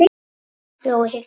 Jói hikaði.